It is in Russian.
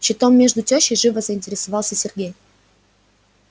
щитом между тёщей живо заинтересовался сергей